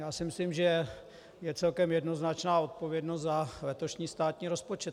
Já si myslím, že je celkem jednoznačná odpovědnost za letošní státní rozpočet.